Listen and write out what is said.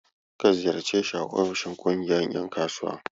Ka ziyarce shi a ofishin ƙungiyar ƴan kasuwa.